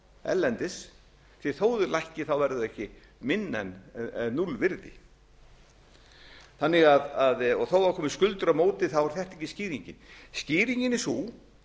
erlendis því þó þau lækki verða þau ekki minna en núllvirði þó það komi skuldir á móti er þetta ekki skýringin skýringin er sú